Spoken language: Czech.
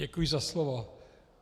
Děkuji za slovo.